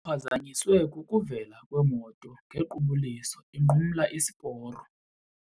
Uphazanyiswe kukuvela kwemoto ngequbuliso inqumla isiporo.